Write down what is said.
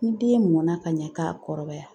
Ni den mɔnna ka ɲɛ k'a kɔrɔbaya